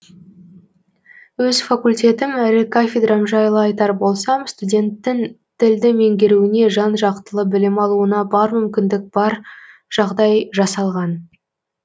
өз факультетім әрі кафедрам жайлы айтар болсам студенттің тілді меңгеруіне жан жақтылы білім алуына бар мүмкіндік бар жағдай жасалған